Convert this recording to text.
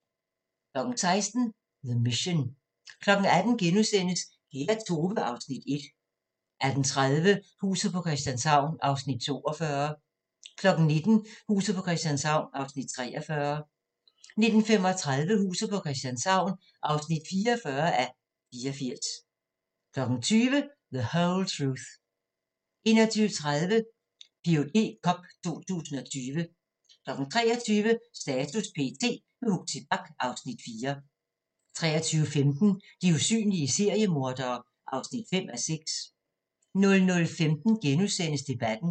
16:00: The Mission 18:00: Kære Tove (Afs. 1)* 18:30: Huset på Christianshavn (42:84) 19:00: Huset på Christianshavn (43:84) 19:35: Huset på Christianshavn (44:84) 20:00: The Whole Truth 21:30: Ph.d cup 2020 23:00: Status p.t. – med Huxi Bach (Afs. 4) 23:15: De usynlige seriemordere (5:6) 00:15: Debatten *